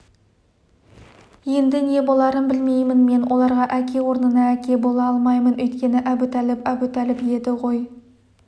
енді не боларын білмеймін мен оларға әке орнына әке бола алмаймын өйткені әбутәліп әбутәліп еді ғой